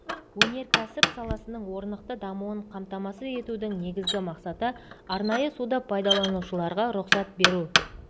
өнеркәсіп саласының орнықты дамуын қамтамасыз етудің негізгі мақсаты арнайы суды пайдаланушыларға рұқсат беру